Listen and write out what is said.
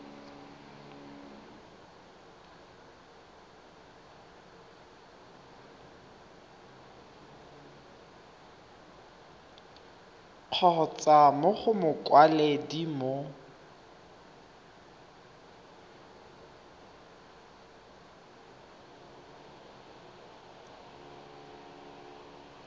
kgotsa mo go mokwaledi mo